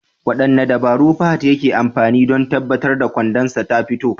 Wadanne dabaru Fahad yake amfani da don tabbatar da gwandansa tafito?